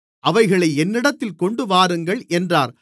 அவைகளை என்னிடத்தில் கொண்டுவாருங்கள் என்றார்